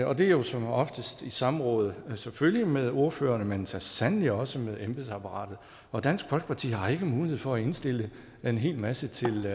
og det er jo som oftest i samråd selvfølgelig med ordførerne men så sandelig også med embedsapparatet og dansk folkeparti har ikke mulighed for at indstille en hel masse til